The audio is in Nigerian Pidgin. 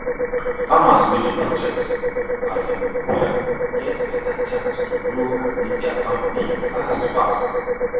farmers wey dey budget um well get better chance to grow and make their farm big fast fast